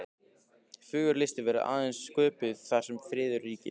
Fögur list verður aðeins sköpuð þar sem friður ríkir.